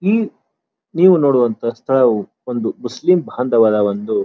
ಈ ನೀವು ನೋಡುವಂತಹ ಸ್ಥಳವು ಒಂದು ಮುಸ್ಲಿಂ ಬಂದವರ ಒಂದು --